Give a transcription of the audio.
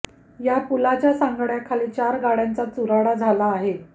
या पुलाच्या सांगाड्याखाली चार गाड्यांचा चुराडा झाला आहे